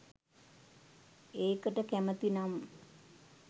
ඒකට කැමති නම්